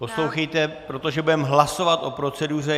Poslouchejte, protože budeme hlasovat o proceduře.